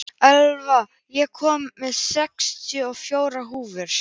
Elva, ég kom með sextíu og fjórar húfur!